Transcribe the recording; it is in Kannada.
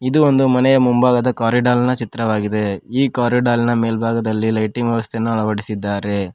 ಇದು ಒಂದು ಮನೆಯ ಮುಂಭಾಗದ ಕಾರಿಡಾರ್ನ ಚಿತ್ರವಾಗಿದೆ ಈ ಕಾರಿಡಾರ್ನ ಮೇಲ್ಭಾಗದಲ್ಲಿ ಲೈಟಿಂಗ್ ವ್ಯವಸ್ಥೆಯನ್ನು ಅಳವಡಿಸಿದ್ದಾರೆ.